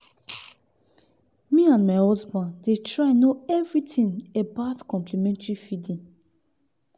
me and my husband dey try know everything about complementary feeding.